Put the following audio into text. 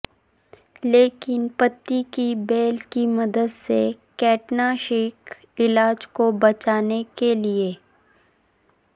لیکن پتی کی بیل کی مدد سے کیٹناشک علاج کو بچانے کے لئے